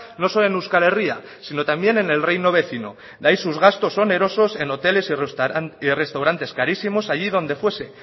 no solo en euskal herria sino también en el reino vecino de ahí sus gastos onerosos en hoteles y restaurantes carísimos allí donde fuese